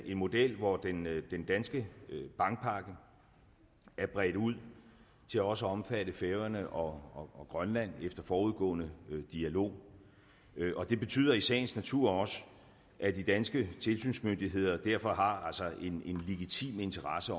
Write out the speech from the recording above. en model hvor den danske bankpakke er bredt ud til også at omfatte færøerne og og grønland efter forudgående dialog og det betyder i sagens natur også at de danske tilsynsmyndigheder derfor har en legitim interesse